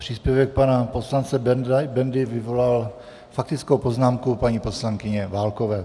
Příspěvek pana poslance Bendy vyvolal faktickou poznámku paní poslankyně Válkové.